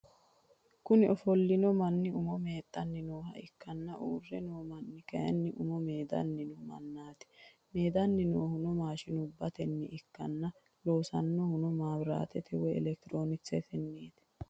Kuni ofollinno manni umo meexanni nooha ikkanna uurre noo manni kayini umo meedanni no mannati. meedanni noohuno mashinubbatenni ikkanna loossannohuno mawiratete woy elektironikisetennit.